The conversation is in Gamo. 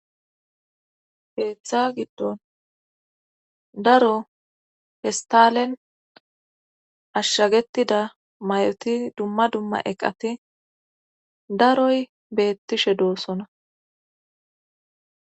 heeththa giddon daro pestalen ashshagetida may7oti dumma dumma eqati daroy beettishe doossona